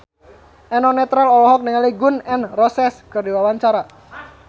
Eno Netral olohok ningali Gun N Roses keur diwawancara